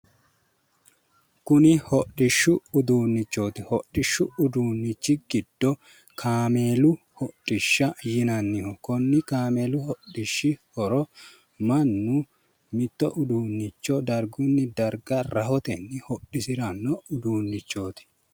Kuni hodhishshu uduunnichooti hodhishu uduunnichi giddo kameelu hodhishsha yinanniho konni kameelu hodhishshi horo mannu uduunicho dargunni darga rahotenni hodhisiranno uduunnichooti